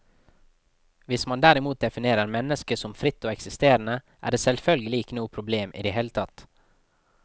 Hvis man derimot definerer mennesket som fritt og eksisterende, er det selvfølgelig ikke noe problem i det hele tatt.